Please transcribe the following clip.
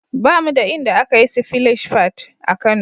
Ba mu da inda aka yi sifilash fad (splash pad) a Kano.